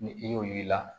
Ni i y'o yir'i la